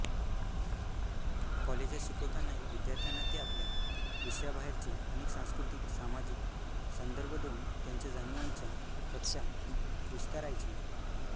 कॉलेजात शिकवतानाही विद्यार्थ्यांना ते आपल्या विषयाबाहेरचे अनेक सांस्कृतिकसामाजिक संदर्भ देऊन त्यांच्या जाणिवांच्या कक्षा विस्तारायचे